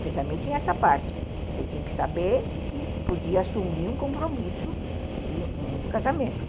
porque também tinha essa parte, você tinha que saber que podia assumir um compromisso de um casamento.